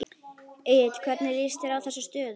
Egill hvernig líst þér á þessa stöðu?